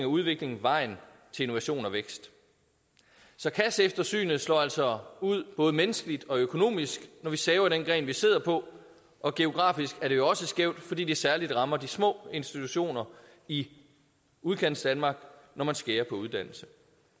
og udvikling vejen til innovation og vækst så kasseeftersynet slår altså ud både menneskeligt og økonomisk når vi saver i den gren vi sidder på og geografisk er det jo også skævt fordi det særlig rammer de små institutioner i udkantsdanmark når man skærer på uddannelse